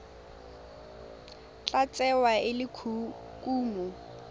tla tsewa e le kumo